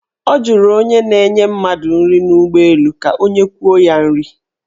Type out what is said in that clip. Ọ jụrụ onye na-enye mmadụ nri n' ụgbọelụ ka o nyekwuo ya nri.